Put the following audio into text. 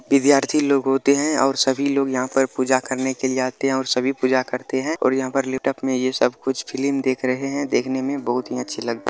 विद्यार्थी लोग होते है और सभी लोग यहां पर पूजा करने के लिये आते है और सभी पूजा करते है और यहां पे लेटॉप में ये सब कुछ फिल्म देख रहे है देखने में बहुत ही अच्छी लग --